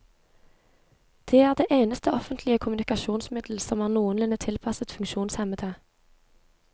Det er det eneste offentlige kommunikasjonsmiddel som er noenlunde tilpasset funksjonshemmede.